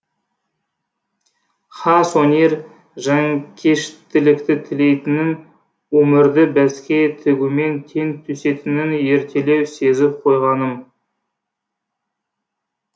хас өнер жанкештілікті тілейтінін өмірді бәске тігумен тең түсетінін ертелеу сезіп қойғаным